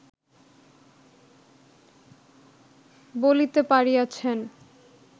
বলিতে পারিয়াছেন